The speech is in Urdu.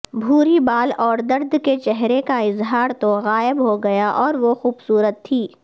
بھوری بال اور درد کے چہرے کا اظہار تو غائب ہوگیا اور وہ خوبصورت تھی